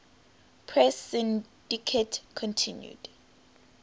press syndicate continued